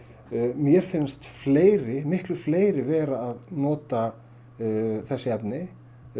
mér finnst fleiri fleiri vera að nota þessi efni